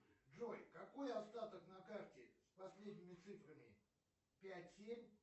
джой какой остаток на карте с последними цифрами пять семь